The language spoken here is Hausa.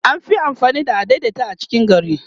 an Fi amfani da adaidaita a cikin gari